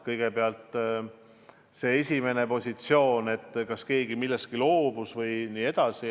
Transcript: Kõigepealt sellest, kas keegi millestki loobus ja nii edasi.